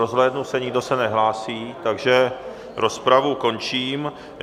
Rozhlédnu se, nikdo se nehlásí, takže rozpravu končím.